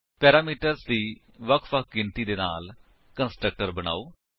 parameters ਦੀ ਵਖ ਵਖ ਗਿਣਤੀ ਦੇ ਨਾਲ ਕੰਸਟਰਕਟਰ ਬਨਾਓ